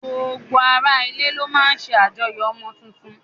Gbogbo ara ilé ló máa ń ṣe àjọyọ̀ ọmọ tuntun